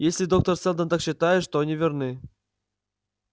если доктор сэлдон так считает то они верны